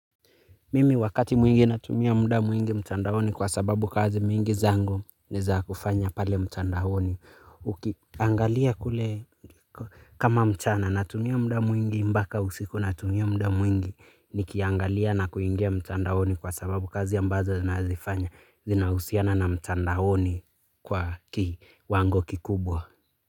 Mimi wakati mwingi natumia muda mwingi mtandaoni kwa sababu kazi mingi zangu ni za kufanya pale mtandaoni. Angalia kule kama mchana natumia muda mwingi mpaka usiku natumia muda mwingi nikiangalia na kuingia mtandaoni kwa sababu kazi ambazo zinahusiana na mtandaoni kwa kiwango kikubwa.